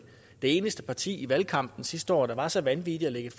eneste parti i valgkampen sidste år der var så vanvittige at lægge